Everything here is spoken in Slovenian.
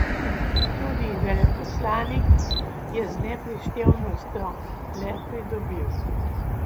Tudi veleposlanik je z neprištevnostjo le pridobil.